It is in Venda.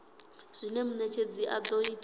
zwine munetshedzi a do ita